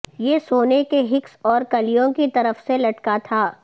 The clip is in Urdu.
یہ سونے کے ہکس اور کلیوں کی طرف سے لٹکا تھا